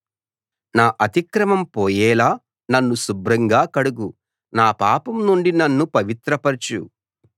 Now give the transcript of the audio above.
నా అతిక్రమం పోయేలా నన్ను శుభ్రంగా కడుగు నా పాపం నుండి నన్ను పవిత్రపరచు